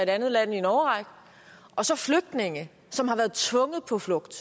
andet land i en årrække og så flygtninge som har været tvunget på flugt